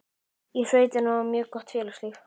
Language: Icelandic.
Í sveitinni var mjög gott félagslíf.